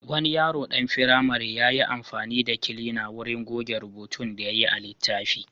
Wani yaro ɗan firamare ya yi amfani da kilina wurin goge rubutun da yayi a littafi.